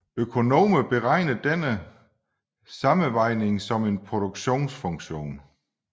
Økonomer beregner denne sammenvejning som en produktionsfunktion